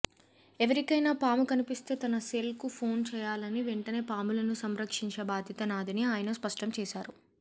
ఎవరికైనా పాము కనిపిస్తే తన సెల్కు ఫోన్ చేయాలని వెంటనే పాములను సంరక్షించే బాధ్యత నాదని ఆయన స్పష్టం చేశారు